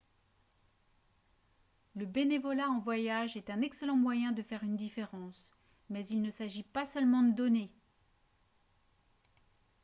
le bénévolat en voyage est un excellent moyen de faire une différence mais il ne s'agit pas seulement de donner